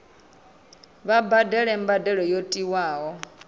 vha badele mbadelo yo tiwaho